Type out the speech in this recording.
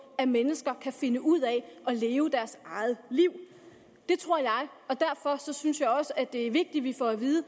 at mennesker kan finde ud af at leve deres eget liv det tror jeg og derfor synes jeg også det er vigtigt vi får at vide